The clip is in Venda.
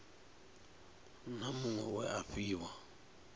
na muṅwe we a fhiwa